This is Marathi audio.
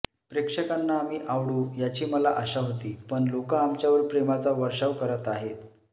प्रेक्षकांना आम्ही आवडू याची मला आशा होती पण लोकं आमच्यावर प्रेमाचा वर्षाव करत आहेत